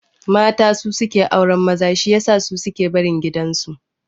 Mata su suke auran maza shi yasa su suke barin gidan su